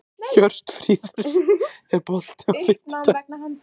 Hjörtfríður, er bolti á fimmtudaginn?